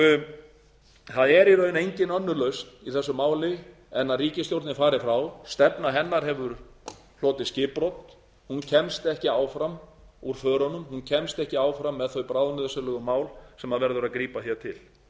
rofið það er í raun engin önnur lausn í þessu máli en að ríkisstjórnin fari frá stefna hennar hefur hlotið skipbrot hún kemst ekki áfram úr förunum hún kemst ekki áfram með þau bráðnauðsynlegu mál sem verður að grípa til